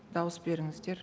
дауыс беріңіздер